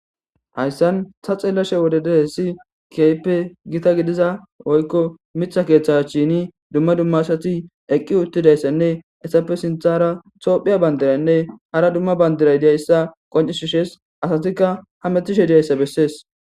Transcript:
hayssan ta xeellashe wode dee si kaype gita gidiza woykko mitha keeththe cshini dumma dumma asati eqqi uttidayssanne essappe sinthara toophiya bandiranne hara dumma bandiray diyayssa qoncishushees asatikka ha metishe diyayssa bessees